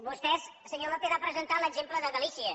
vostè senyor lópez ha presentat l’exemple de galícia